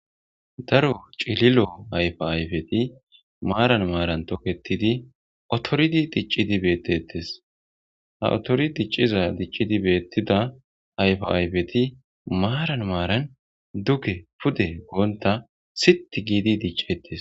Daro cilillo ayfa ayifeti maran maran toketidi ottoridi diccidi betetes ha ottori diccida dicciz betiza ayfa ayfeti maran maran duge pude gonitan siit gidi diccetes.